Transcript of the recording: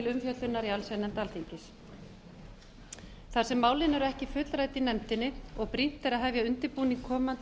umfjöllunar í allsherjarnefnd alþingis þar sem málin eru ekki fullrædd í nefndinni og brýnt er að hefja undirbúning komandi